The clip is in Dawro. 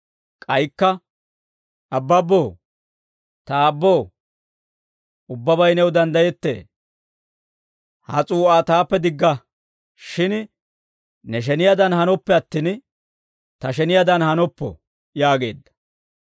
K'aykka, «Abbabboo, ta Aabboo, ubbabay new danddayettee; ha s'uu'aa taappe digga; shin ne sheniyaadan hanoppe attin, ta sheniyaadan hanoppo» yaageedda.